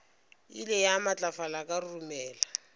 ile ya matlafala ka roromela